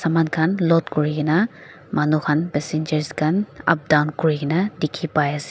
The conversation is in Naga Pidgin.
saman khan load kurikaena manu khan passenger khan up down kuri kae na dikhipaiase.